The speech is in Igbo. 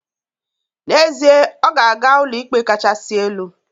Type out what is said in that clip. N'ezie, ọ ga-aga Ụlọikpe Kasị Elu